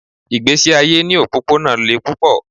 Ìgbésí ayé ní òpópónà le púpọ̀.